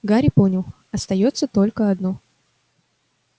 гарри понял остаётся только одно